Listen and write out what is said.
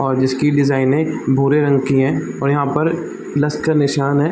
और इसकी डिजाइन भूरे रंग की है और यहां पर प्लस का निशान हैं।